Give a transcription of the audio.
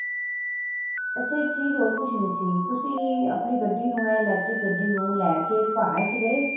ਅੱਛਾ ਇੱਕ ਚੀਜ਼ ਹੋਰ ਪੁੱਛਣੀ ਸੀ ਤੁਸੀਂ ਆਪਣੀ ਗੱਡੀ ਨੂੰ ਏਹ electric ਗੱਡੀ ਨੂੰ ਲੈਕੇ ਪਹਾੜਾਂ ਵਿੱਚ ਗਏ ਹੋ